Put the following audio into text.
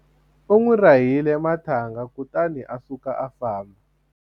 u n'wi rahile marhanga kutani a suka a famba